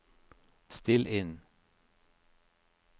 still inn